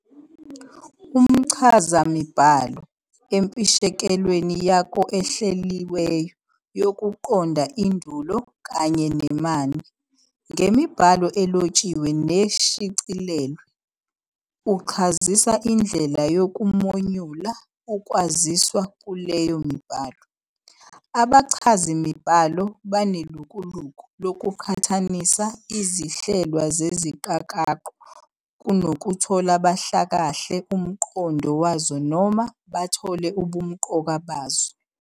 Umchazamibhalo, empishekelweni yako ehleliweyo yokuqonda indulo Kanye nemanie ngemibhalo elotshiwe neshicilelwe, uchazisa indlela yokumonyula ukwaziswa kuleyo mibhalo. Abachazimibhalo banelukuluku lokuqhathanisa izihlelwa zeziqakaqo kunokuthi bahlakahle umqondo wazo noma bahlole ubumqoka bazo.